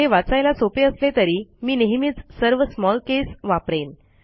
हे वाचायला सोपे असले तरी मी नेहमीच सर्वsmall केस वापरेन